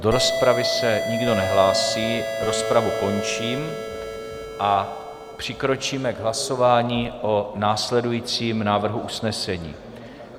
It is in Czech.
Do rozpravy se nikdo nehlásí, rozpravu končím a přikročíme k hlasování o následujícím návrhu usnesení.